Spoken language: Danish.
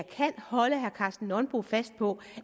kan holde herre karsten nonbo fast på